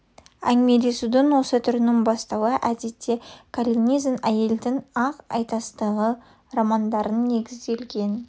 әңгімелесудің осы түрінің бастауы әдетте коллинз әйелдің ақ айтастығы романдарына негізделген